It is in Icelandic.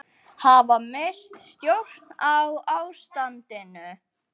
Hafa misst stjórn á ástandinu